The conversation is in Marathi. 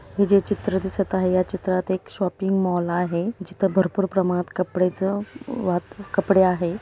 हे जे चित्र दिसत आहे या चित्रात एक शॉपींग मॉल आहे जिथ भरपूर प्रमाणात कपड्याच वात कपडे आहे.